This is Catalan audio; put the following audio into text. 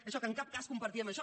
això que en cap cas compartien això